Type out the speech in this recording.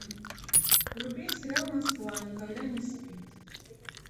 вруби сериал москва никогда не спит